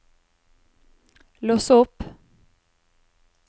lås opp